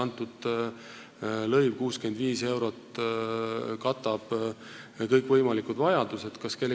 Kas see lõiv, 65 eurot, katab kõikvõimalikud vajadused?